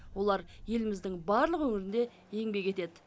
олар еліміздің барлық өңірінде еңбек етеді